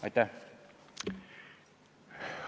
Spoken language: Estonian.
Aitäh!